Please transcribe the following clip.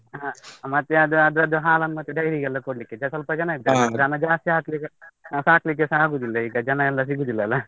ಹ, ಮತ್ತೆ ಅದು ಅದ್ರದ್ದು ಹಾಲನ್ನು ಮತ್ತೆ dairy ಗೆಲ್ಲ ಕೊಡ್ಲಿಕ್ಕೆ ಸ್ವಲ್ಪ ಇದ್ದಾರೆ ದನ ಜಾಸ್ತಿ ಹಾಕ್ಲಿಕ್ಕೆ ಸಾಕ್ಲಿಕ್ಕೆಸ ಆಗುದಿಲ್ಲ ಈಗ ಜನ ಎಲ್ಲ ಸಿಗುದಿಲ್ಲ ಅಲ್ಲ.